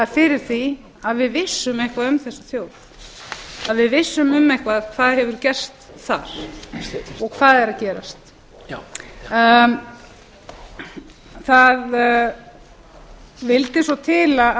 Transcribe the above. fyrir því að við vissum eitthvað um þessa þjóð að við vissum um eitthvað hvað hefur gerst þar og hvað er að gerast það vildi svo til